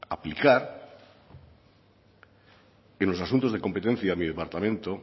aplicar en los asuntos de competencia de mi departamento